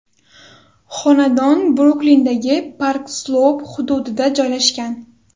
Xonadon Bruklindagi Park-Sloup hududida joylashgan.